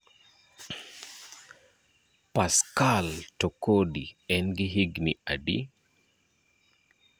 Pascal Tokodi en gi higni adi?